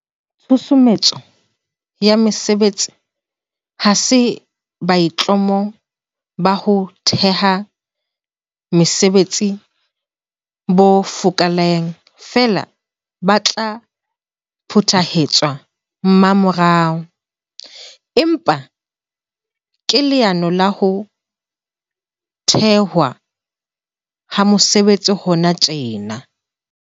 Tshusumetso ya mesebetsi ha se boitlamo ba ho theha mesebetsi bo fokaelang feela bo tla phethahatswa mmamorao, empa ke leano la ho thehwa ha mesebetsi hona tjena.